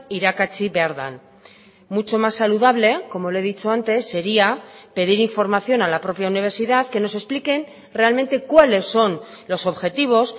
irakatsi behar den mucho más saludable como le he dicho antes sería pedir información a la propia universidad que nos expliquen realmente cuáles son los objetivos